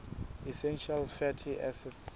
essential fatty acids